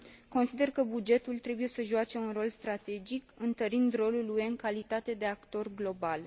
Consider că bugetul trebuie să joace un rol strategic, întărind rolul UE în calitate de actor global.